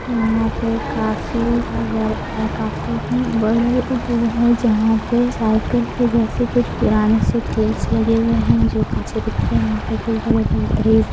यहाँ पे काफी अगर आ काफी ही बड़े है जहाँ पे साइकल के जैसे कुछ पुराने से लगे हुए है जो काफी कुछ बड़े-बड़े ट्रीज --